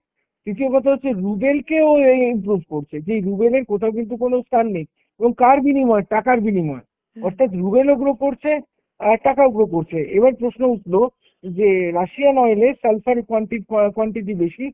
দ্বিতীয় কথা হচ্ছে ruble কেও এই এই improve করছে। যেই ruble এর কোথাও কিন্তু কোনো স্থান নেই, এবং কার বিনিময়ে? টাকার বিনিময়ে । অর্থাৎ, ruble ও grow করছে আর টাকাও grow করছে। এবার প্রশ্ন উঠলো যে Russian oil এর sulfur কুয়ানটি~ অ্যাঁ quantity বেশি।